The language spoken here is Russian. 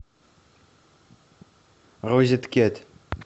розеткед